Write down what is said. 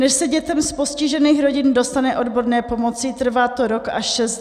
Než se dětem z postižených rodin dostane odborné pomoci, trvá to rok až šest let.